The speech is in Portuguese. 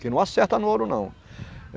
Que não acerta no ouro, não.